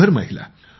१०० महिला